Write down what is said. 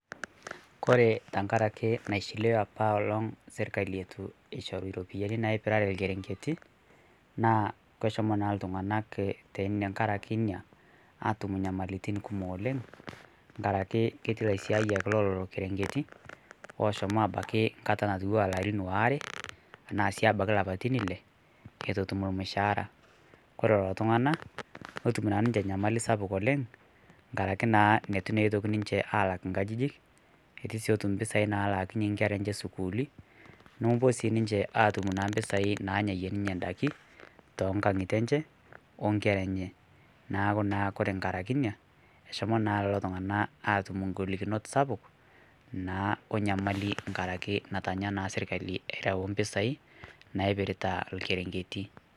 kore tankarakee naishiliwaa apaa elong' sirkalii etuu eishoruu ropiyani naipiraree lkerenketii naa keshomoo naa ltung'anak tang'arakee inia atum nyamalitin kumoo oleng' ng'arakee ketii laisiayak leloloo kerenketii loshomoo abakii nkataa natuwaa larin waare tanaa abakii lapatin ilee etuu etum lmushahara kore leloo tung'ana notum naa ninshe nyamali sapuk oleng' ng'arakee naa netuu naa ninshe alak nkajijik etuu sii etum mpisai nalaakinye nkera enshe sukuuli nomopuo sii ninshe atum mpisai nanyayie ninshe ndakii tonkang'itee enshee onkera enyee naaku naa ng'arakee inia eshomoo naa leloo tunganaa atum ng'olikinot sapuk naa onyamalii ng'arakee natanya naa sirkali erau mpisai naipirita lkerenketii.